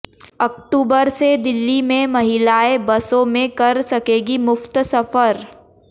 अक्टूबर से दिल्ली में महिलाएं बसों में कर सकेंगी मुफ्त सफर